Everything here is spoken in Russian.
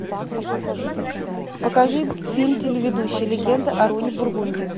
покажи фильм телеведущий легенда о роне бургунди